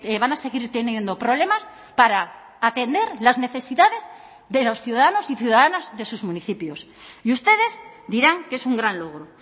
van a seguir teniendo problemas para atender las necesidades de los ciudadanos y ciudadanas de sus municipios y ustedes dirán que es un gran logro